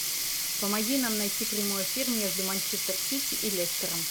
помоги нам найти прямой эфир между манчестер сити и лестером